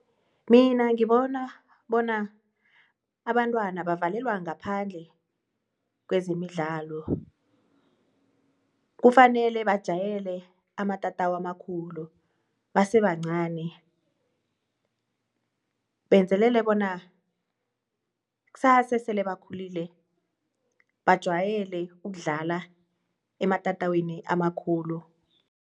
Mina ngibona bona abantwana bavalelwa ngaphandle kwezemidlalo. Kufanele bajayele amatatawu amakhulu basebancani benzelele bona kusasa esele bakhulile bajwayele ukudlala ematatawini amakhulu.